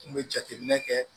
N kun be jateminɛ kɛ